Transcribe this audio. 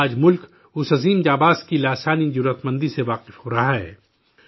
آج ملک، اس عظیم جانباز کی بے پناہ شجاعت سے متعارف ہو رہا ہے